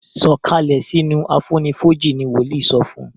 sọ Kalẹ sínú àfonífojì! ní woli sọfún